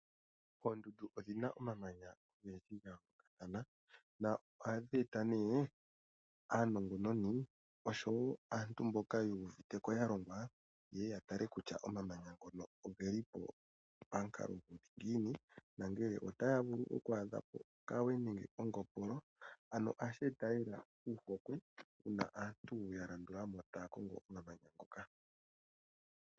Oondundu odhina omamananya ogendji noya yoolokathana. Na Ohadhi eta nee Aanongononi oshowo aantu mboka huuviteko yalongwa yeye yatale kutya omamananya ngono ogeli pamukalo guli ngiini nongele otaa vulu okwaadha mo okawe nenge ongopolo ano ohashi eta lela ohokwe uuna aantu ya landula mo taakongo omamanya ngoka.